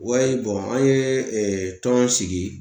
an ye tɔn sigi